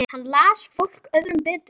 Hann las fólk öðrum betur.